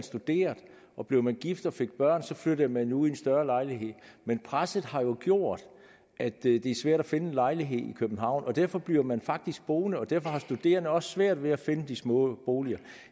studerede og blev man gift og fik børn så flyttede man ud i en større lejlighed men presset har jo gjort at det er svært at finde en lejlighed i københavn og derfor bliver man faktisk boende derfor har studerende også svært ved at finde de små boliger